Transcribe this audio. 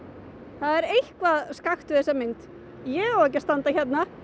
það er eitthvað skakkt við þessa mynd ég á ekki að standa hérna